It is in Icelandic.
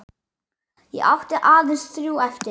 Ég átti aðeins þrjú eftir.